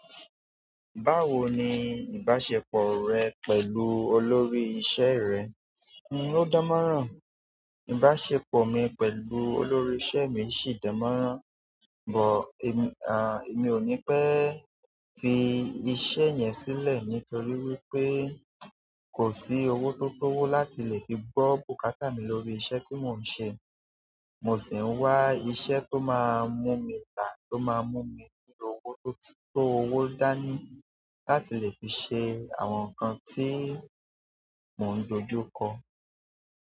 Báwo ni ìbáṣepọ̀ rẹ pẹ̀lú olórí iṣẹ́ rẹ? N o dánmọ́nrán. Ìbáṣepọ̀ mi pẹ̀lú olórí iṣẹ́ mi sì dánmọ́nrán, but èmi ò ní pẹ fi iṣẹ́ yẹn sílẹ̀ nítorí wípé kò sí owó tó tówó láti lè fi bọ́ bùkátà mi lórí iṣẹ́ tí mò ń ṣe. Mo sì ń wá iṣẹ́ tó máa mú mi la tó máa mú mi ní owó tó tó owó dá ní láti lè fi ṣe àwọn nǹkan tí mò ń dojú kọ.